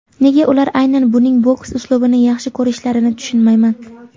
Nega ular aynan uning boks uslubini yaxshi ko‘rishlarini tushunmayman.